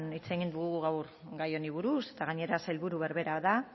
hitz egin dugu gai honi buruz eta gainera sailburu berbera da